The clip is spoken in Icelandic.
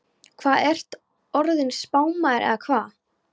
Hvað, ertu orðinn spámaður eða hvað?